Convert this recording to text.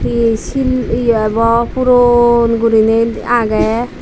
ei shil ye ebaw puron guriney agey.